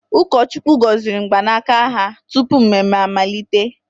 Ụkọchukwu gọziri mgbanaka ha tupu mmemme amalite.